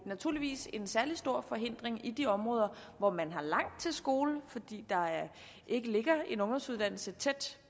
naturligvis en særlig stor forhindring i de områder hvor man har langt til skole fordi der ikke ligger en ungdomsuddannelse tæt